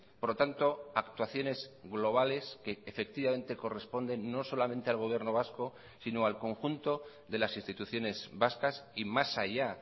por lo tanto actuaciones globales que efectivamente corresponden no solamente al gobierno vasco sino al conjunto de las instituciones vascas y más allá